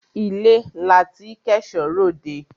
Ilé la tí k'ẹ̀ṣọ́ r'òdẹ.